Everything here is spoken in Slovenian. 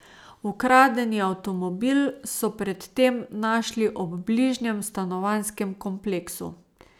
Ukradeni avtomobil so pred tem našli ob bližnjem stanovanjskem kompleksu.